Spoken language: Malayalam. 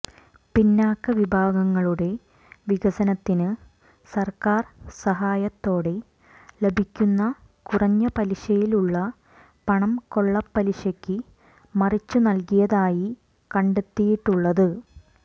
പിന്നാക്കവിഭാഗങ്ങളുടെ വികസനത്തിന് സർക്കാർ സഹായത്തോടെ ലഭിക്കുന്ന കുറഞ്ഞ പലിശയിലുള്ള പണം കൊള്ളപ്പലിശയ്ക്ക് മറിച്ചു നൽകിയതായി കണ്ടെത്തിയിട്ടുള്ളത്